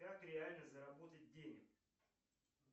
как реально заработать денег